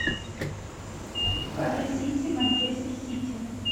покажи сити манчестер сити